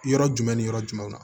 Yɔrɔ jumɛn ni yɔrɔ jumɛn